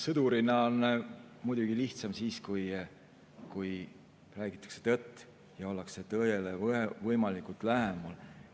Sõdurina on muidugi lihtsam siis, kui räägitakse tõtt ja ollakse tõele võimalikult lähedal.